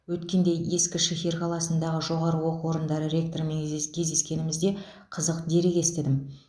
өткенде ескішехир қаласындағы жоғары оқу орындары ректорымен кездескенімде қызық дерек естідім